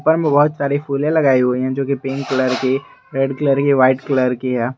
उपर में बहुत सारी फुले लगाई हुई है जो की पिंक कलर की रेड कलर की वाइट कलर की हैं।